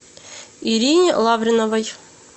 ирине лавреновой